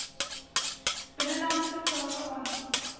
binnelandse sake aansoek